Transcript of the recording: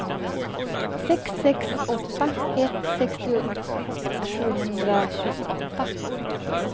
sex sex åtta ett sextio sjuhundratjugoåtta